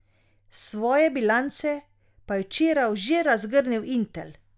Svoje bilance pa je včeraj že razgrnil Intel.